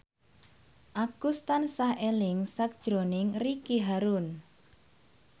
Agus tansah eling sakjroning Ricky Harun